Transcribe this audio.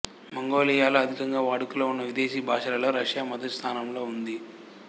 మంగోలియాలో అధికంగా వాడుకలో ఉన్న విదేశీ భాషలలో రష్యా మొదటి స్థానంలో ఉంది